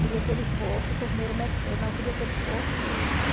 Queria que ele fosse torneiro, não eu queria que ele fosse...